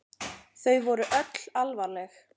Þau voru öll alvarleg.